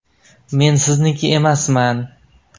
Men sizniki emasman!